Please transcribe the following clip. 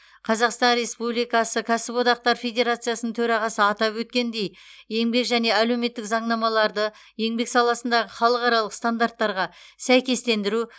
қазақстан республикасы кәсіп одақтары федерациясының төрағасы атап өткендей еңбек және әлеуметтік заңнамаларды еңбек саласындағы халықаралық стандарттарға сәйкестендіру